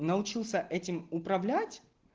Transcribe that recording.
научился этим управлять